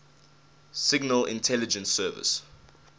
signal intelligence service